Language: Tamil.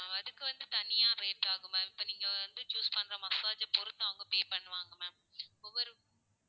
அஹ் அதுக்கு வந்து தனியா rate ஆகும் ma'am இப்ப நீங்க வந்து choose பண்ற massage ஐ பொருத்து அவங்க pay பண்ணுவாங்க ma'am ஒவ்வொரு